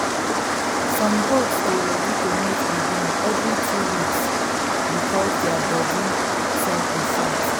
some goat dey ready to mate again every two weeks because their body cycle short